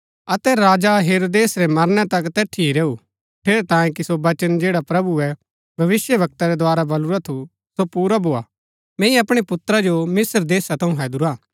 अतै राजा हेरोदेस रै मरनै तक तैठिये ही रैऊ ठेरैतांये कि सो वचन जैड़ा प्रभुऐ भविष्‍यवक्ता रै द्वारा बलुरा थू सो पुरा भोआ मैंई अपणै पुत्रा जो मिस्त्र देशा थऊँ हैदुरा